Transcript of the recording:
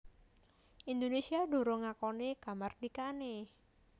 Indonésia durung ngakoni kamardikané